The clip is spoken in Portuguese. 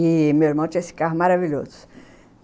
E meu irmão tinha esse carro maravilhoso.